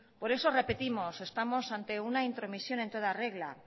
por eso repetimos estamos en una intromisión en toda regla